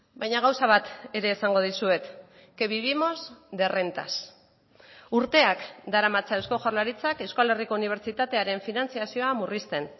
baina gauza bat ere esango dizuet que vivimos de rentas urteak daramatza eusko jaurlaritzak euskal herriko unibertsitatearen finantzazioa murrizten